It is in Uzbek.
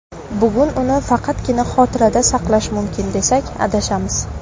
Bugun uni faqatgina xotirada saqlash mumkin, desak adashamiz.